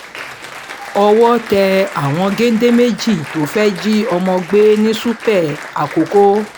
owó tẹ àwọn géńdé méjì tó fẹ́ẹ́ jí ọmọ gbé ní ṣúpẹ́ àkókò